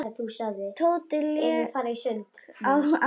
Tóti lék á als oddi.